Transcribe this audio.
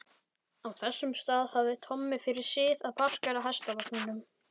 Á þessum stað hafði Tommi fyrir sið að parkera hestvagninum.